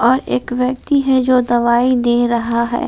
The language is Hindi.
और एक व्यक्ति है जो दवाई दे रहा है।